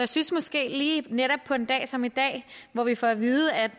synes måske lige netop på en dag som i dag hvor vi får at vide at